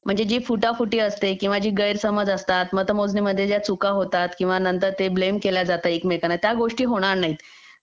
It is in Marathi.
म्हणजे जी फुटाफुटी असते जे गैरसमज असतात मतमोजणी मध्ये ज्या चुका होतात किंवा मग नंतर ते ब्लेम केल्या जातं एकमेकांवर त्या गोष्टी होणार नाही